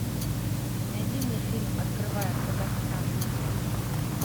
найди мне фильм открывая казахстан